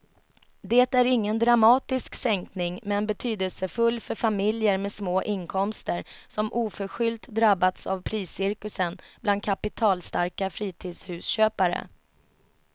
Det är ingen dramatisk sänkning men betydelsefull för familjer med små inkomster som oförskyllt drabbats av priscirkusen bland kapitalstarka fritidshusköpare.